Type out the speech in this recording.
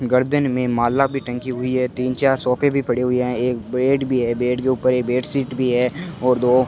गर्दन में माला भी टंगी हुई है तीन चार सोफे भी पड़े हुए हैं एक बेड भी है बेड के ऊपर बेडशीट भी है और दो --